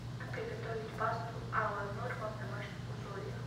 как приготовить пасту алла норма в домашних условиях